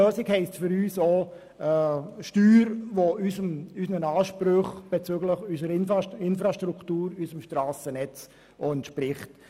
Eine gute Lösung heisst für uns, dass eine Steuer auch unserer Infrastruktur und unserem Strassennetz entspricht.